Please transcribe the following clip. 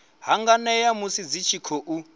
hanganea musi dzi tshi khou